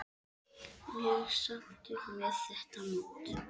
Mjög sáttur með þetta mót.